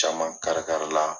Caman kari kari la.